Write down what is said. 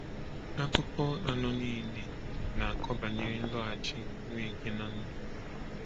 Akụkọ anọ niile na-akọ banyere nloghachi Nweke n’ndụ.